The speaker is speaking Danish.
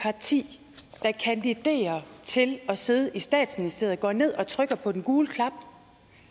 parti der kandiderer til at sidde i statsministeriet går ned og trykker på den gule knap